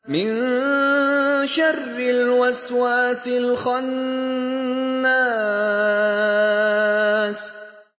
مِن شَرِّ الْوَسْوَاسِ الْخَنَّاسِ